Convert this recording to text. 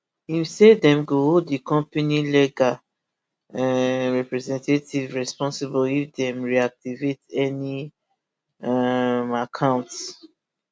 im say dem go hold di company legal um representatives responsible if dem reactivate any um accounts